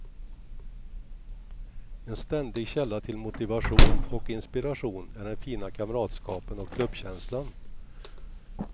En ständig källa till motivation och inspiration är den fina kamratskapen och klubbkänslan.